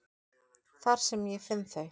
Þar sem ég finn þau.